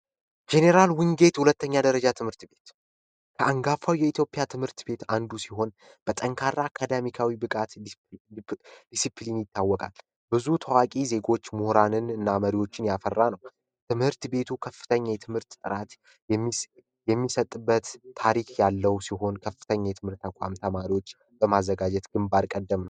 ጄኔራል ውንጌት ሁለተኛ ደረጃ ትምህርት ቤት ከአንጋፋው የኢትዮጵያ ትምህርት ቤት አንዱ ሲሆን በጠንካራ አካዳሚካዊ ብቃት ዲሲፕሊን ይታወቃል። ብዙ ተዋቂ ዜጎች ሙኅራንን እና መሪዎችን ያፈራ ነው ። ትምህርት ቤቱ ከፍተኛ የትምህርት ጥራት የሚሰጥበት ታሪክ ያለው ሲሆን ከፍተኛ የትምህርት ኳም ተማሪዎች በማዘጋጀት ግንባር ቀደምን ነው።